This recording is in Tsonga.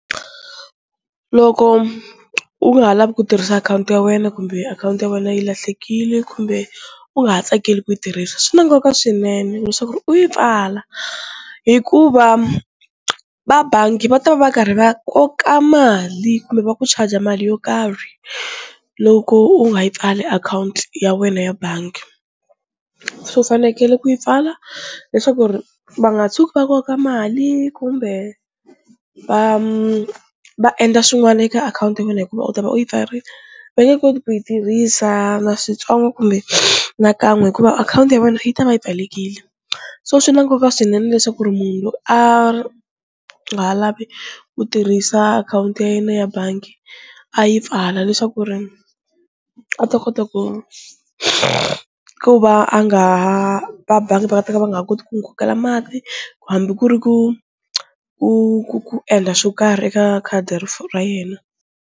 Loko u nga ha lavi ku tirhisa akhawunti ya wena kumbe akhawunti ya wena yi lahlekile kumbe u nga ha tsakeli ku yi tirhisa, swi na nkoka swinene leswaku ri u yi pfala hikuva va bangi va ta va va karhi va koka mali kumbe va ku charge mali yo karhi loko u nga yi pfali akhawunti ya wena ya bangi, so u fanekele ku yi pfala leswaku ri va nga tshuki va koka mali kumbe va va endla swin'wani eka akhawunti ya wena hikuva u ta va u yi pfarile, va nge koti ku yi tirhisa na switsongo kumbe nakan'we hikuva akhawunti ya wena yi ta va yi pfalekile, so swi na nkoka swinene leswaku ri munhu loko a nga ha lavi ku tirhisa akhawunti ya yena ya bangi a yi pfala leswaku ri a ta kota ku ku va a nga ha va bangi va nga ta va va nga ha koti ku n'wi kokela mali ku hambi ku ri ku ku ku ku endla swo karhi eka khadi ra yena.